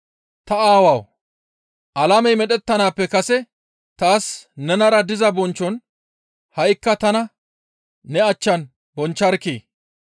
Ta Aawawu! Alamey medhettanaappe kase taas nenara diza bonchchon ha7ikka tana ne achchan bonchcharkkii!